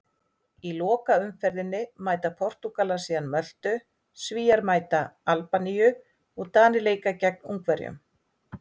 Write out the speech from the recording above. Í lokaumferðinni mæta Portúgalar síðan Möltu, Svíar mæta Albaníu og Danir leika gegn Ungverjum.